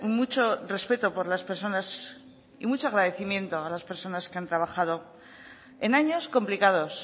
mucho respeto por las personas y mucho agradecimiento a las personas que han trabajado en años complicados